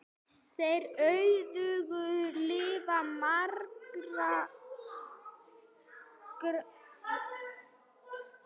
Þeir auðguðu líf margra.